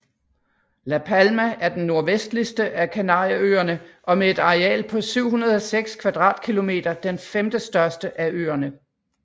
La Palma er den nordvestligste af Kanarieøerne og med et areal på 706 km² den femte største af øerne